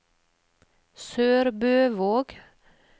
SørbØvåg